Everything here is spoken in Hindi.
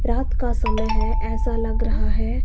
रात का समय है ऐसा लग रहा है।